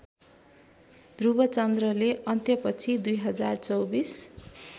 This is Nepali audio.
ध्रुवचन्द्रले अन्त्यपछि २०२४